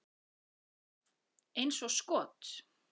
Eins og skot!